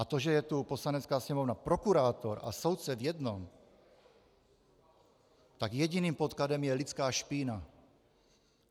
A to, že je tu Poslanecká sněmovna prokurátor a soudce v jednom, tak jediným podkladem je lidská špína.